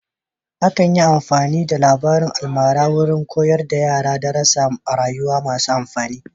Akan yi amfani da labarin almara wurin koyar da yara darasar rayuwa masu amfani.